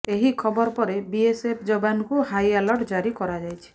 ଏହି ଖବର ପରେ ବିଏସ୍ଏଫ୍ ଯବାନଙ୍କୁ ହାଇଆଲର୍ଟ ଜାରି କରାଯାଇଛି